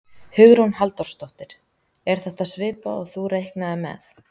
Hugrún Halldórsdóttir: Er þetta svipað og þú reiknaðir með?